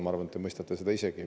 Ma arvan, et te mõistate seda isegi.